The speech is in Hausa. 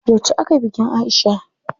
Yauce akayi bikin Aisha?